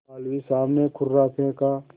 मौलवी साहब ने कुर्रा फेंका